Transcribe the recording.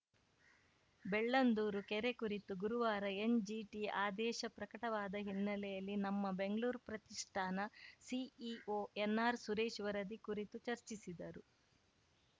ಬೆಳ್ಳಂದೂರು ಕೆರೆ ಕುರಿತು ಗುರುವಾರ ಎನ್‌ಜಿಟಿ ಆದೇಶ ಪ್ರಕಟವಾದ ಹಿನ್ನೆಲೆಯಲ್ಲಿ ನಮ್ಮ ಬೆಂಗ್ಳೂರು ಪ್ರತಿಷ್ಠಾನ ಸಿಇಒ ಎನ್‌ಆರ್‌ ಸುರೇಶ್‌ ವರದಿ ಕುರಿತು ಚರ್ಚಿಸಿದರು